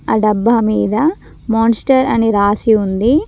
ఆ డబ్బా మీద మాన్స్టర్ అని రాసి ఉంది.